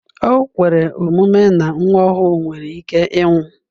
O kwere omume na nwa ọhụrụ nwere ike ịnwụ.